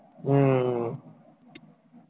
হম